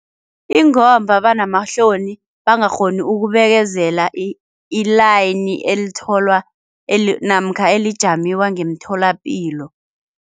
Ingomba banamahloni bangakghoni ukubekezela i-line elitholwa namkha elijamiwa ngemtholapilo.